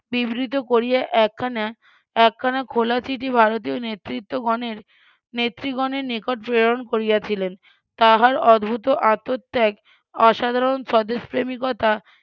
বিবৃত করিয়া একখানা একখানা খোলা চিঠি ভারতীয় নেতৃত্বগণের নেত্রী গণের নিকট প্রেরণ করিয়াছিলেন তাহার অদ্ভুত আত্মত্যাগ অসাধারণ স্বদেশপ্রেমীর কথা